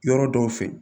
Yɔrɔ dɔw fɛ